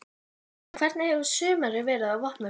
En hvernig hefur sumarið verið á Vopnafirði?